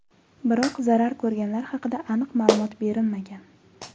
Biroq zarar ko‘rganlar haqida aniq ma’lumot berilmagan.